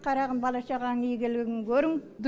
қарағым бала шағаң игілігін көрің